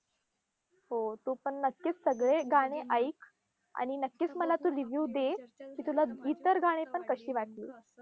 हो. तू पण नक्कीच सगळे गाणे ऐक, आणि नक्कीच मला तू review दे, की तुला इतर गाणी पण कशी वाटली.